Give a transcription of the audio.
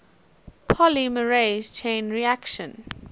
polymerase chain reaction